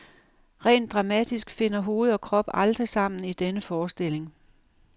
Rent dramatisk finder hoved og krop aldrig sammen i denne forestilling.